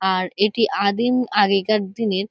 আর এটি আদিম আগেকার দিনের--